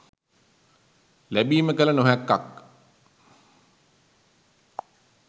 ලැබීම කල නොහැක්කක්